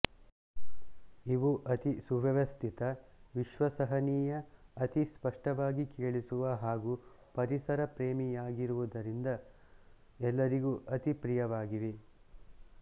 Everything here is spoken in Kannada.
ಇವು ಅತಿ ಸುವ್ಯಸ್ಥಿತ ವಿಶ್ವಸನೀಯ ಅತಿ ಸ್ಪಷ್ಟವಾಗಿ ಕೇಳಿಸುವ ಹಾಗೂ ಪರಿಸರ ಪ್ರೇಮಿಯಾಗಿರುವುದರಿಂದ ಎಲ್ಲರಿಗೂ ಅತಿ ಪ್ರಿಯವಾಗಿವೆ